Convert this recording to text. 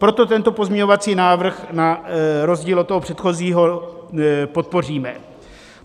Proto tento pozměňovací návrh na rozdíl od toho předchozího podpoříme.